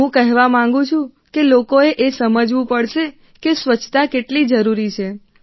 હું કહેવા માંગું છું કે લોકોએ સમજવું પડશે કે સ્વચ્છતા કેટલી જરૂરી છે